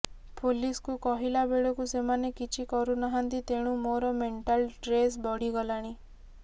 ପୋଲିସକୁ କହିଲାବେଳକୁ ସେମାନେ କିଛି କରୁ ନାହାନ୍ତି ତେଣୁ ମୋର ମେଣ୍ଟାଲ୍ ଟ୍ରେସ୍ ବଢ଼ିଗଲାଣି